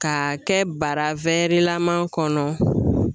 Ka kɛ bara wɛrilaman kɔnɔ